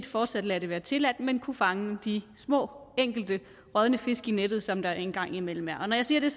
fortsat lader det være tilladt men kunne fange de små enkelte rådne fisk i nettet som der engang imellem være når jeg siger det